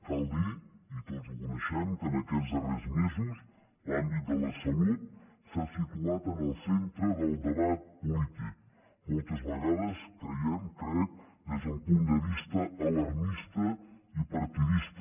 cal dir i tots ho coneixem que en aquests darrers mesos l’àmbit de la salut s’ha situat en el centre del debat polític moltes vegades creiem crec des d’un punt de vista alarmista i partidista